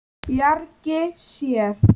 Bjargi sér.